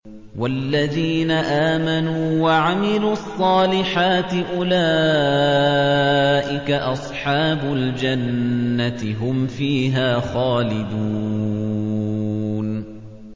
وَالَّذِينَ آمَنُوا وَعَمِلُوا الصَّالِحَاتِ أُولَٰئِكَ أَصْحَابُ الْجَنَّةِ ۖ هُمْ فِيهَا خَالِدُونَ